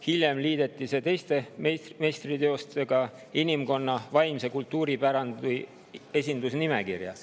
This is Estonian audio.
Hiljem liideti need teiste meistriteostega inimkonna vaimse kultuuripärandi esindusnimekirja.